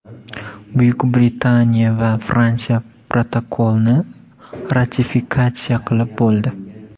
Buyuk Britaniya va Fransiya protokolni ratifikatsiya qilib bo‘ldi”.